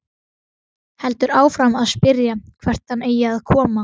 Heldur áfram að spyrja hvert hann eigi að koma.